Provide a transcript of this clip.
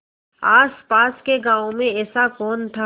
आसपास के गाँवों में ऐसा कौन था